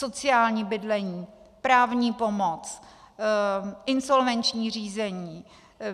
Sociální bydlení, právní pomoc, insolvenční řízení.